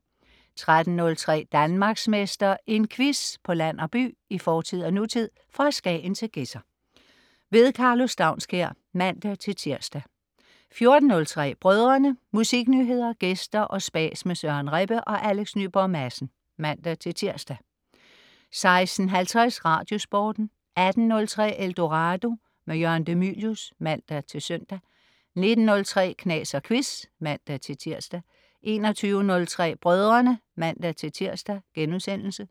13.03 Danmarksmester. En quiz på land og by, i fortid og nutid, fra Skagen til Gedser. Karlo Staunskær (man-tirs) 14.03 Brødrene. Musiknyheder, gæster og spas med Søren Rebbe og Alex Nyborg Madsen (man-tirs) 16.50 RadioSporten 18.03 Eldorado. Jørgen de Mylius (man-søn) 19.03 Knas og Quiz (man-tirs) 21.03 Brødrene (man-tirs)*